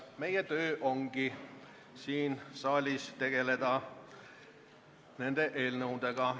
Meie töö ongi siin saalis tegeleda eelnõudega.